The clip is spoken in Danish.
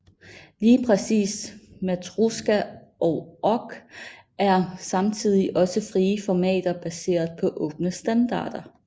Lige præcis Matroska og Ogg er samtidig også frie formater baseret på åbne standarder